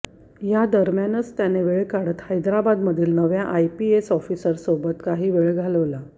या दरम्यानच त्याने वेळ काढत हैदराबादमधील नव्या आईपीएस ऑफिसरसोबत काही वेळ घालवला